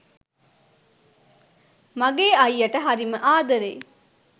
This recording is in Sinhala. මගෙ අයියට හරීම ආදරෙයි